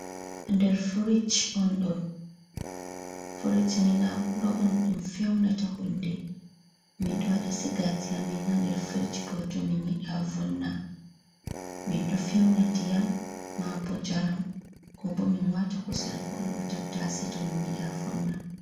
Nder firis non ɗo, ɓurna fuu ɗum ɗo fewna huunde, min ɗo waɗa sigaaji amin haa nder frich, bo to min yiɗaa vonna min ɗo fewna ndiyam maabo njaram koo boo min waata kusel kooo tattase to min yiɗaa vonna.